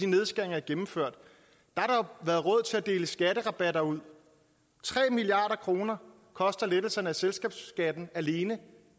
nedskæringer er gennemført har der været råd til at dele skatterabatter ud tre milliard kroner koster lettelserne af selskabsskatten alene